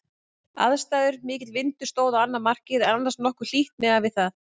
Aðstæður: Mikill vindur stóð á annað markið en annars nokkuð hlýtt miðað við það.